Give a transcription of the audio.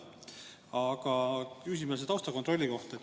Aga küsimus on taustakontrolli kohta.